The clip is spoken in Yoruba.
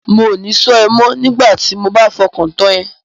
Mò ní ṣọ́ ẹ mọ́ nigbati mo bá fọkàn tán ẹ.